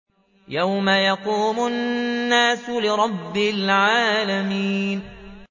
يَوْمَ يَقُومُ النَّاسُ لِرَبِّ الْعَالَمِينَ